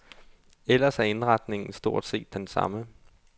Ellers er indretningen stort set den samme.